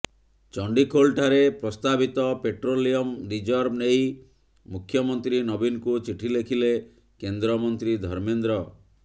ଚଣ୍ଡିଖୋଲ ଠାରେ ପ୍ରସ୍ତାବିତ petroleum reserve ନେଇ ମୁଖ୍ୟମନ୍ତ୍ରୀ ନବୀନଙ୍କୁ ଚିଠି ଲେଖିଲେ କେନ୍ଦ୍ରମନ୍ତ୍ରୀ ଧର୍ମେନ୍ଦ୍ର